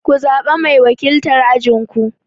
Ku zaɓa mai wakiltar ajin ku!